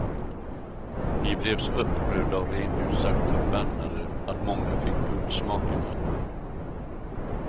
Vi blev så upprörda och rent ut sagt förbannade att många fick blodsmak i munnen.